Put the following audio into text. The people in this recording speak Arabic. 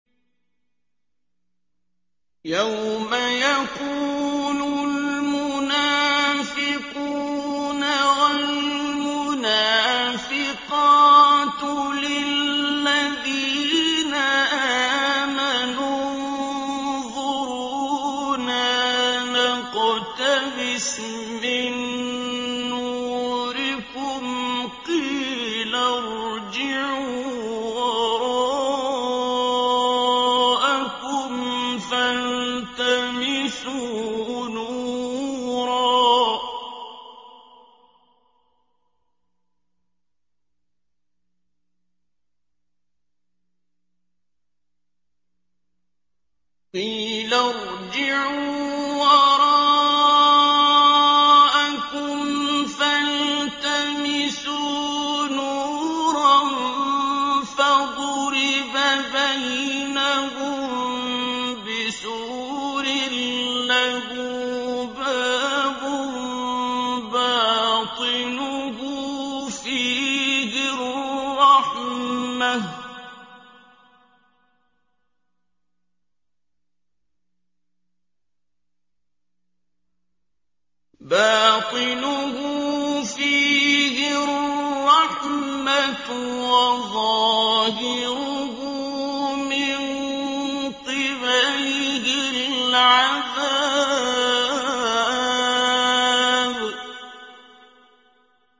يَوْمَ يَقُولُ الْمُنَافِقُونَ وَالْمُنَافِقَاتُ لِلَّذِينَ آمَنُوا انظُرُونَا نَقْتَبِسْ مِن نُّورِكُمْ قِيلَ ارْجِعُوا وَرَاءَكُمْ فَالْتَمِسُوا نُورًا فَضُرِبَ بَيْنَهُم بِسُورٍ لَّهُ بَابٌ بَاطِنُهُ فِيهِ الرَّحْمَةُ وَظَاهِرُهُ مِن قِبَلِهِ الْعَذَابُ